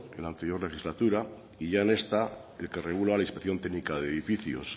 en la anterior legislatura y ya en esta el que regula la inspección técnica de edificios